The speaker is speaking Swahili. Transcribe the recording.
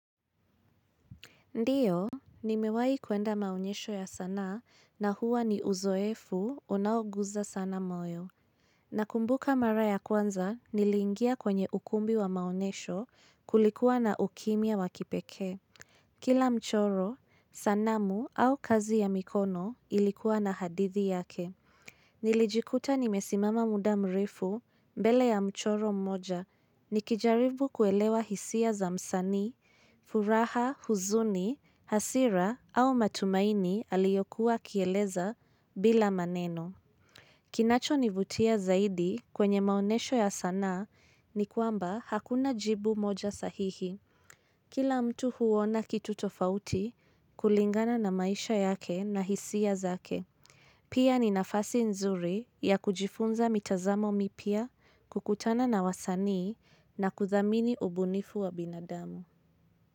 Ndiyo, nimewahi kuenda maonyesho ya sanaa na huwa ni uzoefu unaoguza sana moyo. Nakumbuka mara ya kwanza niliingia kwenye ukumbi wa maonyesho kulikuwa na ukimya wa kipekee. Kila mchoro, sanamu au kazi ya mikono ilikuwa na hadithi yake. Nilijikuta nimesimama muda mrefu mbele ya mchoro mmoja. Nikijaribu kuelewa hisia za msanii, furaha, huzuni, hasira au matumaini aliyokuwa akieleza bila maneno. Kinachonivutia zaidi kwenye maonyesho ya sanaa ni kwamba hakuna jibu moja sahihi. Kila mtu huona kitu tofauti kulingana na maisha yake na hisia zake. Pia ni nafasi nzuri ya kujifunza mitazamo mipya kukutana na wasani na kuthamini ubunifu wa binadamu.